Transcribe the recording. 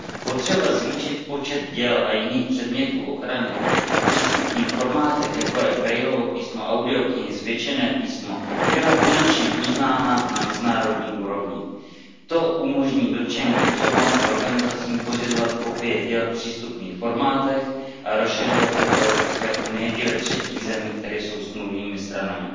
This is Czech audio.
Potřeba zvýšit počet děl a jiných předmětů ochrany v přístupných formátech, jako je Braillovo písmo, audioknihy a zvětšené písmo, byla konečně uznána na mezinárodní úrovni. To umožní dotčeným osobám a organizacím pořizovat kopie děl v přístupných formátech a rozšiřovat je po EU i ve třetích zemích, které jsou smluvními stranami.